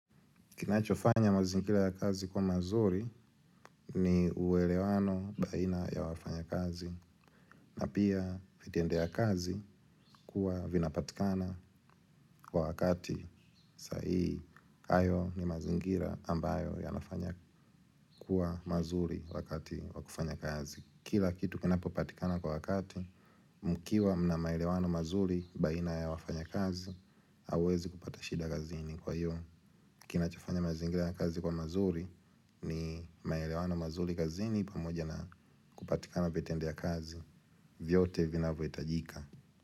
Kinachofanya mazingira ya kazi kuwa mazuri ni uwelewano baina ya wafanya kazi. Na pia fitendo ya kazi kuwa vinapatikana kwa wakati saii. Hayo ni mazingira ambayo yanafanya kuwa mazuri wakati wakufanya kazi. Kila kitu kinapopatikana kwa wakati mkiwa mna maelewano mazuri baina ya wafanya kazi. Hawezi kupata shida gazini kwa iyo. Kina chofanya mazingira ya kazi kuwa mazuri ni maelewano mazuri kazini pamoja na kupatikana vitendea vya kazi. Vyote vina voitajika.